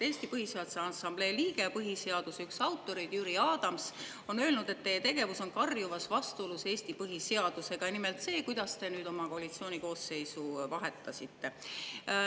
Eesti Põhiseaduse Assamblee liige, põhiseaduse üks autoreid Jüri Adams on öelnud, et teie tegevus on karjuvas vastuolus Eesti põhiseadusega, nimelt see, kuidas te oma koalitsiooni koosseisu vahetasite.